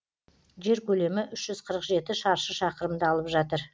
жер көлемі үш жүз қырық жеті шаршы шақырымды алып жатыр